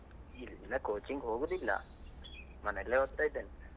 ಇಲ್ಲ coaching ಹೋಗುದಿಲ್ಲ, ಮನೆಯಲ್ಲೇ ಓದ್ತಾ ಇದ್ದೇನೆ.